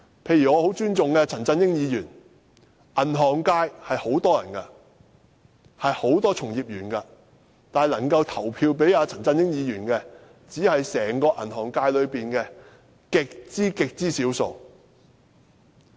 例如我很尊重的陳振英議員，銀行界有很多從業員，但能夠投票給陳振英議員的，只是整個銀行界中的極少數。